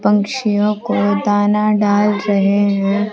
पंछियों को दाना डाल रहे हैं।